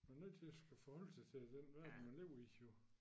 Man er nødt til at skulle forholde sig til den verden man lever i jo